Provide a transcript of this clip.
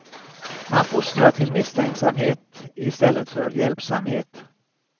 Man fostrar till misstänksamhet i stället för hjälpsamhet.